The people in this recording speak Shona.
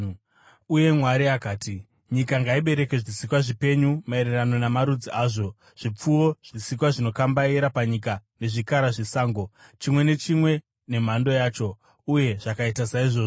Uye Mwari akati, “Nyika ngaibereke zvisikwa zvipenyu maererano namarudzi azvo: zvipfuwo, zvisikwa zvinokambaira panyika, nezvikara zvesango, chimwe nechimwe nemhando yacho.” Uye zvakaita saizvozvo.